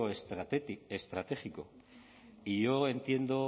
estratégico yo entiendo